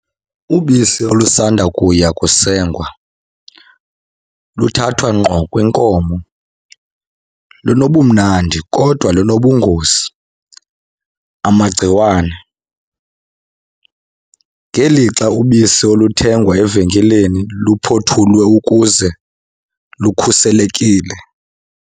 Ubisi olusanda kuya kusengwa luthathwa ngqo kwinkomo lunobumnandi kodwa linobungozi, amagciwane. Ngelixa ubisi oluthengwa evenkileni luphothulwe ukuze lukhuselekile.